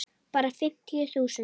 Bara fimmtíu þúsund.